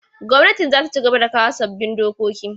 Gwamnatin za ta cigaba da kawo sabbin dokoki.